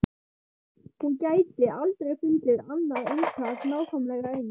Hún gæti aldrei fundið annað eintak nákvæmlega eins.